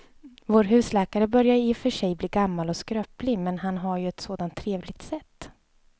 Vår husläkare börjar i och för sig bli gammal och skröplig, men han har ju ett sådant trevligt sätt!